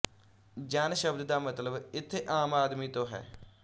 ਜਨ ਸ਼ਬਦ ਦਾ ਮਤਲਬ ਇਥੇ ਆਮ ਆਦਮੀ ਤੋ ਹੈ